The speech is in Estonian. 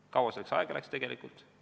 Kui kaua selleks tegelikult aega läks?